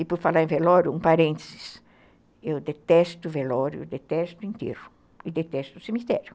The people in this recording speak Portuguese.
E por falar em velório, um parênteses, eu detesto velório, detesto enterro e detesto cemitério.